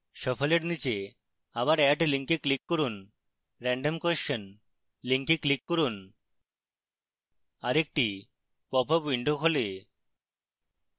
shuffle এর নীচে আবার add link click করুন random question link click করুন